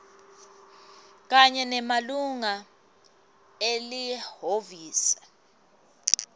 kanye nemalunga elihhovisi